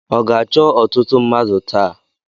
Ọ ga-achọ ọtụtụ mmadụ taa?